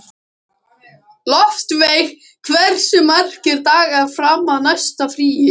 Loftveig, hversu margir dagar fram að næsta fríi?